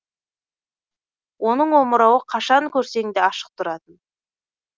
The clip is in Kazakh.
оның омырауы қашан көрсең де ашық тұратын